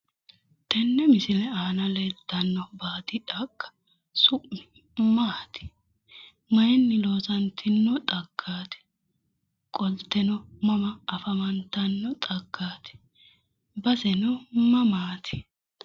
Tenne misile aana leeltanno baadi xagga su'mi Maati? Mayiinni loosantino xagfaati? Qolteno mama afantanno xaggaati? Baseno mamaati?